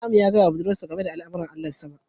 Namo ya gaya wa budurwarsa game da al'amuran Allahn sama